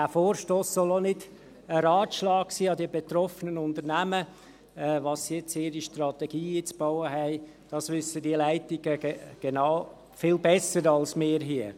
Dieser Vorstoss soll auch nicht ein Ratschlag an die betroffenen Unternehmen sein, was sie jetzt in ihre Strategie einzubauen haben – das wissen diese Leitungen viel besser als wir hier.